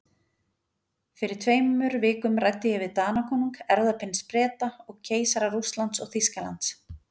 Fyrir tveimur vikum ræddi ég við Danakonung, erfðaprins Breta og keisara Rússlands og Þýskalands.